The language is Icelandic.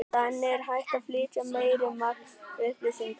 Þannig er hægt að flytja meira magn upplýsinga.